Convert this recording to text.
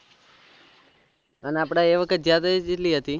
અને આપળે એ વખત જ્યાં થા એ કેટલી હતી